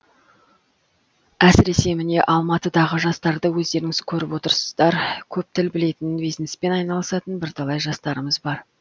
әсіресе міне алматыдағы жастарды өздеріңіз көріп отырсыздар көп тіл білетін бизнеспен айналысатын бірталай жастарымыз бар